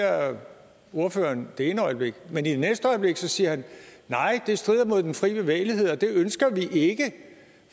ordføreren det ene øjeblik men det næste øjeblik siger han nej det strider mod den fri bevægelighed og det ønsker vi ikke